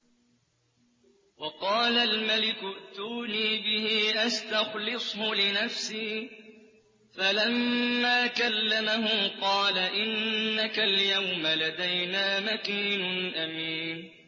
وَقَالَ الْمَلِكُ ائْتُونِي بِهِ أَسْتَخْلِصْهُ لِنَفْسِي ۖ فَلَمَّا كَلَّمَهُ قَالَ إِنَّكَ الْيَوْمَ لَدَيْنَا مَكِينٌ أَمِينٌ